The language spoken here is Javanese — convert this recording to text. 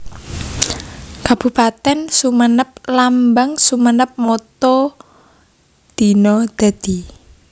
Kabupatèn SumenepLambang SumenepMotto Dina Dadi